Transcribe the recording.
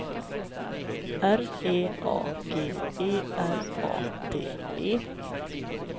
R E A G E R A D E